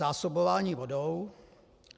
Zásobování vodou.